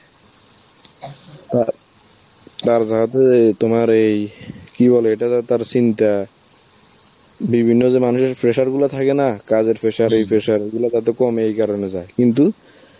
অ্যাঁ আর যেহেতু এই~ তোমার এই কি বলে এটা যার তার seen টা, বিভিন্ন জন অনেক pressure গুলো থাকেনা, কাজের pressure overload এই pressure, ওইগুলো যাতে কমে এই কারণে যায়, কিন্তু